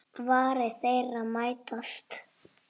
Varir þeirra mætast.